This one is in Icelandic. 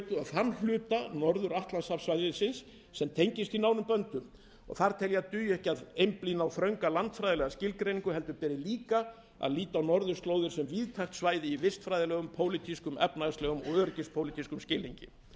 norðurskautið og þann hluta norður atlantshafssvæðisins sem tengist því nánum böndum þar tel ég að dugi ekki að einblína á þrönga landfræðilega skilgreiningu heldur beri líka að líta á norðurslóðir sem víðtækt svæði í vistfræðilegum pólitískum efnahagslegum og öryggispólitískum skilningi